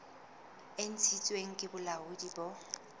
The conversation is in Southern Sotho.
e ntshitsweng ke bolaodi bo